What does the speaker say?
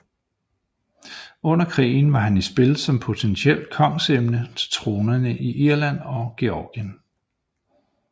Under krigen var han i spil som potentielt kongsemne til tronerne i Irland og Georgien